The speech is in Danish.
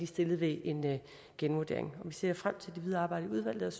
stillet ved en genvurdering vi ser frem til det videre arbejde i udvalget